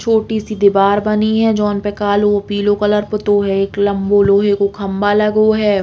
छोटी सी दीवार बनी है जोन पे कालो पीलो कलर पुतो है। एक लम्बो लोहे को खम्बा लगो है।